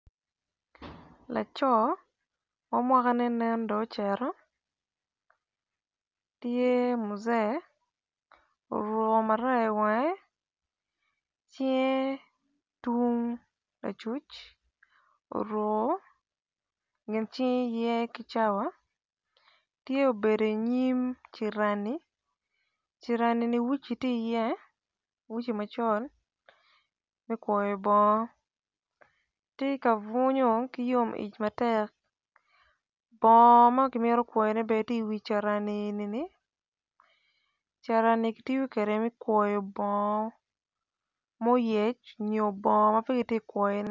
Laco ma mwaka ne nen do ocito tye muze oruko maraya i wange tye tung acuc oruko nge cinge ki cawa tye obedo i nyim carani carani ni wuci tye i ye wuci macol me kwoyo bongo tye ka bunyo ki yom ic matek bpmgo makimito kwayo ne bene tye i wi carani enini carani eni kitoyo kwede me kwoyo bongo moyec nyo bongo mapegitye kwoyo ne.